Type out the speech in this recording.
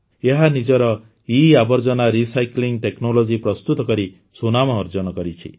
ଏହା ନିଜର ଇଆବର୍ଜନା ରିସାଇକ୍ଲିଂ ଟେକ୍ନୋଲୋଜି ପ୍ରସ୍ତୁତ କରି ସୁନାମ ଅର୍ଜନ କରିଛି